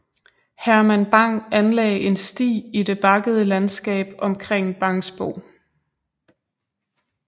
Herman Bang anlagde en sti i det bakkede landskab omkring Bangsbo